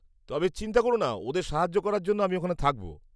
তবে চিন্তা কোরো না, ওঁদের সাহায্য করার জন্য আমি ওখানে থাকব।